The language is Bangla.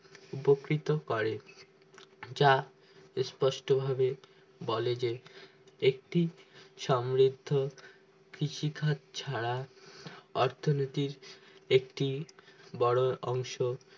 উপকৃত করে যা স্পষ্ট ভাবে বলে যে একটি সমৃদ্ধ কৃষিখাদ ছাড়া অর্থনীতির একটি বোরো অংশ